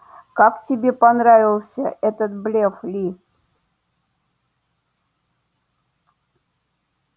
как тебе понравился этот блеф ли